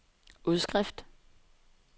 udskrift